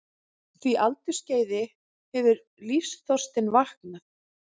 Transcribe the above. því aldursskeiði hefur lífsþorstinn vaknað.